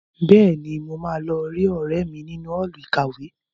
Bẹ́ẹ̀ni, mo máa lọ rí ọ̀rẹ́ mi nínú Ọ́ọ̀lù ìkàwé